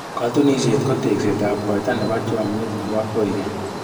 Katunisyet ko tekseetab kaita nebo chomnyet nebo koikeny.